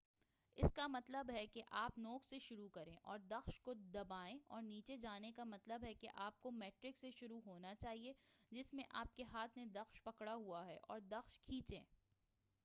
اپ کا مطلب ہے کہ آپ نوک سے شروع کریں اور دخش کو دبائیں اور نیچے جانے کا مطلب ہے کہ آپ کو میڑک سے شروع ہونا چاہئے جس میں آپ کے ہاتھ نے دخش پکڑا ہوا ہے اور دخش کھینچیں۔